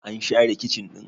an share kicin ɗin?